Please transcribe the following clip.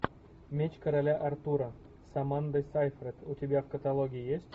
меч короля артура с амандой сейфрид у тебя в каталоге есть